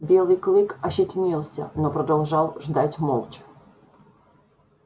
белый клык ощетинился но продолжал ждать молча